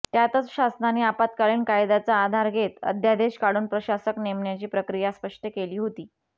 त्यातच शासनाने आपत्कालीन कायद्याचा आधार घेत अध्यादेश काढून प्रशासक नेमण्याची प्रक्रिया स्पष्ट केली होती